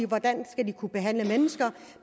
hvordan skal de kunne behandle mennesker